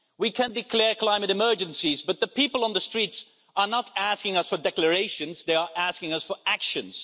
We can declare climate emergencies, but the people on the streets are not asking us for declarations, they are asking us for actions.